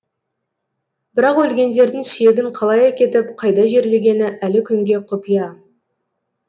бірақ өлгендердің сүйегін қалай әкетіп қайда жерлегені әлі күнге құпия